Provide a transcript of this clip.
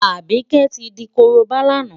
Àbíkẹ́ tí di korobá lánàá.